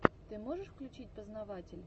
ты можешь включить познаватель